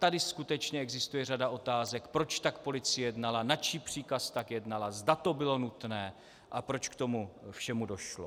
Tady skutečně existuje řada otázek, proč tak policie jednala, na čí příkaz tak jednala, zda to bylo nutné a proč k tomu všemu došlo.